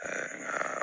nka